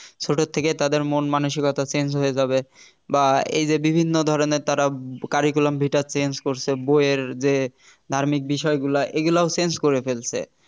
ছোট থেকেই তাদের মন মানসিকতা change হয়ে যাবে বা এই যে বিভিন্ন ধরনের তারা curriculum vita change করছে বইয়ের যে ধার্মিক বিষয়গুলা এগুলোও change করে ফেলছে